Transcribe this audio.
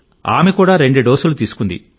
ఆమె కూడా రెండు డోసులు తీసుకుంది